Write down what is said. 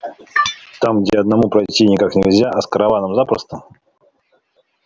там где одному пройти никак нельзя а с караваном запросто